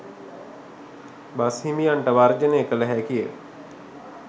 බස්හිමියන්ට වර්ජනය කළ හැකිය.